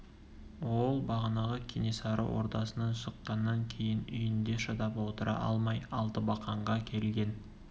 ол бағанағы кенесары ордасынан шыққаннан кейін үйінде шыдап отыра алмай алтыбақанға келген